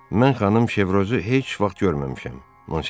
Mən xanım Şevrozu heç vaxt görməmişəm, Monsignor.